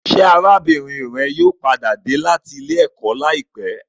Ṣé arábìnrin rẹ yóò padà dé láti ilé-ẹ̀kọ́ láìpẹ́?